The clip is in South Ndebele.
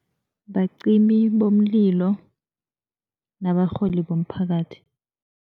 Bacimi bomlilo nabarholi bomphakathi.